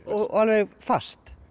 og alveg fast